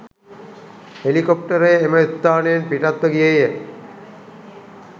හෙලිකොප්ටරය එම ස්ථානයෙන් පිටත්ව ගියේය.